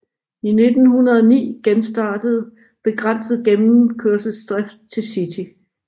I 1909 genstartede begrænset gennemkørselsdrift til City